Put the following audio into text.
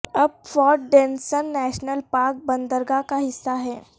اب Fort Denison National Park بندرگاہ کا حصہ ہے